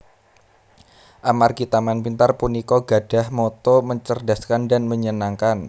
Amargi Taman Pintar punika gadhah motto mencerdaskan dan menyenangkan